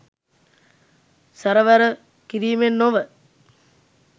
සැරවැර කිරීමෙන් නොව